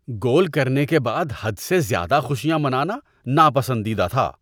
گول کرنے کے بعد حد سے زیادہ خوشیاں منانا ناپسندیدہ تھا۔